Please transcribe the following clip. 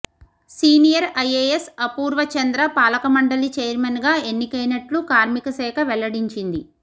senior IAS Apurva Chandra పాలకమండలి ఛైర్మన్గా ఎన్నికైనట్లు కార్మిక శాఖ వెల్లడించింది